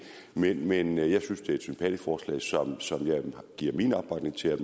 men men jeg synes det er et sympatisk forslag som jeg giver min opbakning til at